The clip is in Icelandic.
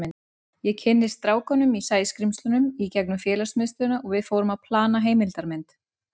Ég kynntist strákunum í Sæskrímslunum í gegnum félagsmiðstöðina og við fórum að plana heimildarmynd.